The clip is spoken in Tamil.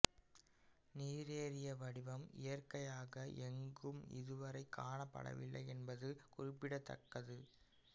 நீரேறிய வடிவம் இயற்கையாக எங்கும் இதுவரை காணப்படவில்லை என்பது குறிப்பிடத்தக்கது